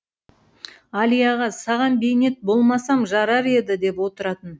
әлияға саған бейнет болмасам жарар еді деп отыратын